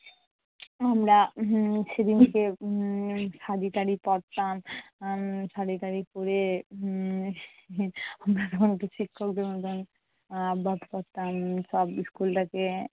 আমরা উম সেদিনকে উম শাড়িটাড়ি পড়তাম। আহ শাড়িটাড়ি পড়ে উম আমরা আমাদের শিক্ষকদের মতন হাব ভাব করতাম। সব school টাকে